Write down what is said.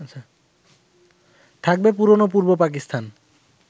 থাকবে পুরনো পূর্ব পাকিস্তান